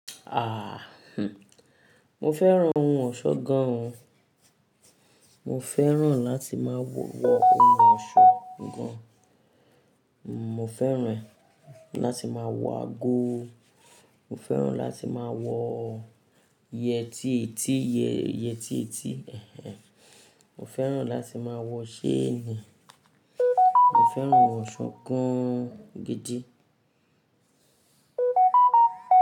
Mo fẹ́ran ohun ọ̀ṣọ́ gan. Mo fẹ́ran láti máa wọ ohun ọ̀ṣọ́ gan. Mo fẹ́ran láti máa wọ ago. Mo fẹ́ran láti máa wọ yẹtí etí, yẹtí etí. Mo fẹ́ran láti máa wọ ṣéènì. Mo fẹ́ran ohun ọ̀ṣọ́ gan gidi.